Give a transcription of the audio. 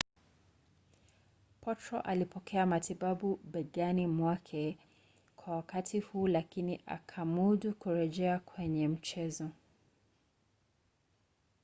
potro alipokea matibabu begani mwake kwa wakati huu lakini akamudu kurejea kwenye mchezo